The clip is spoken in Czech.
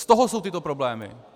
Z toho jsou tyto problémy!